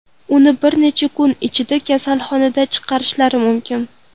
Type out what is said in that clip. Uni bir necha kun ichida kasalxonadan chiqarishlari mumkin.